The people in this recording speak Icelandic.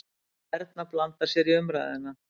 Erna blandar sér í umræðuna.